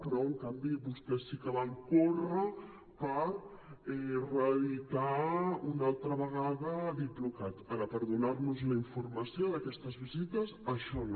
però en canvi vostès sí que van córrer per reeditar una altra vegada diplocat ara per donar nos la informació d’aquestes visites això no